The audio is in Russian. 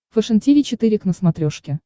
фэшен тиви четыре к на смотрешке